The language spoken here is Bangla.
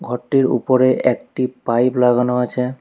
ঘরটির উপরে একটি পাইপ লাগানো আছে।